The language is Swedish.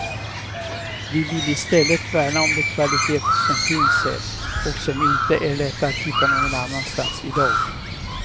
Vi vill i stället värna om de kvaliteter som finns här och som inte är lätta att hitta någon annanstans i dag.